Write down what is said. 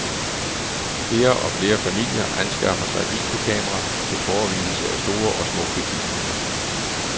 Flere og flere familier anskaffer sig videokamera til forevigelse af store og små begivenheder.